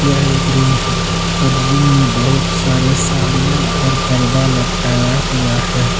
यह एक रूम है और रूम में बहुत सारे साड़ियां और पर्दा लटकाया हुआ है।